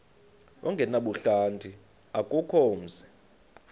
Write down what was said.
ongenabuhlanti akukho mzi